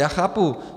Já chápu.